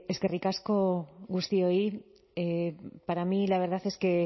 eskerrik asko guztioi para mí la verdad es que